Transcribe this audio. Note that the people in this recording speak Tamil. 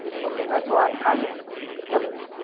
okay ங்களா. so அதனால. சொல்லுங்க.